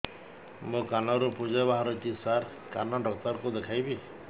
ମୋ କାନରୁ ପୁଜ ବାହାରୁଛି ସାର କାନ ଡକ୍ଟର କୁ ଦେଖାଇବି